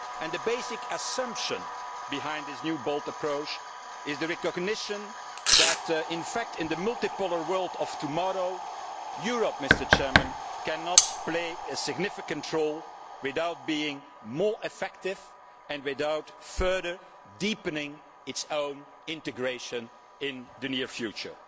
The basic assumption behind this new bold approach is the recognition that in fact, in the multipolar world of tomorrow, Europe cannot play a significant role without being more effective and without further deepening its own integration in the near future.